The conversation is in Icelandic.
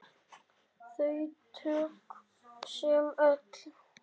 Þau tög sem öll.